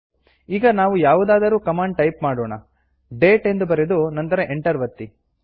ಈಗ ನಾವು ಯಾವುದಾದರೂ ಕಮಾಂಡ್ ಟೈಪ್ ಮಾಡೋಣ ಡೇಟ್ ಎಂದು ಬರೆದು ನಂತರ ಎಂಟರ್ ಒತ್ತಿ